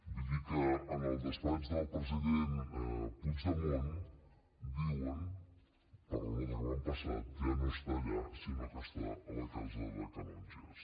vull dir que en el despatx del president puigdemont diuen per la nota que m’han passat ja no està allà sinó que està a la casa dels canonges